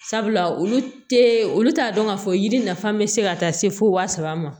Sabula olu tɛ olu t'a dɔn k'a fɔ yiri nafa bɛ se ka taa se fo waa saba ma